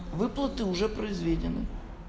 выплаты уже произведены